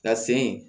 Ka sen